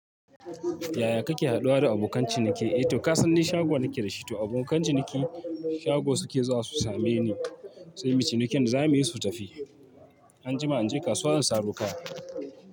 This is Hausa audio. Yaya kake haɗuwa da abokan ciniki? Eh to kasanni shago nake da shi, to abokan ciniki shago suke zuwa su same ni sai mu yi cinikin da zamu yi su tafi. Anjima in je kasuwa in saro kaya.